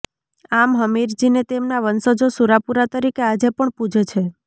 આમ હમીરજીને તેમના વંશજો સુરાપુરા તરીકે આજે પણ પુજે છે